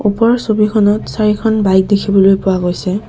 ওপৰৰ ছবিখনত চাৰিখন বাইক দেখিবলৈ পোৱা গৈছে।